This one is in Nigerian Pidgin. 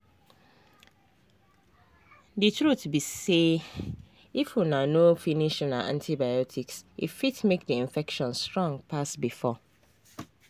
the truth be sayif una no finish una antibiotics e fit make the infection strong pass before